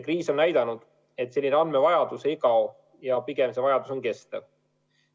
Kriis on näidanud, et selline andmevajadus ei kao, pigem on see vajadus kestev.